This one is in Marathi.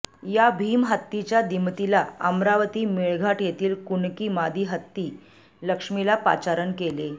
या भीम हत्तीच्या दिमतीला अमरावती मेळघाट येथील कुणकी मादी हत्ती लक्ष्मीला पाचारण केले